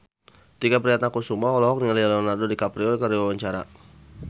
Tike Priatnakusuma olohok ningali Leonardo DiCaprio keur diwawancara